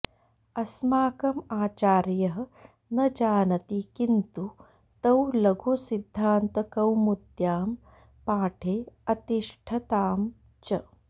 अस्माकं आचार्यः न जानति किन्तु तौ लघुसिद्धान्तकौमुद्यां पाठे अतिष्ठताम् च